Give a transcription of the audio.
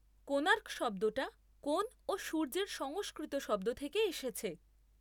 কোণার্ক' শব্দটা কোণ ও সূর্যের সংস্কৃত শব্দ থেকে এসেছে।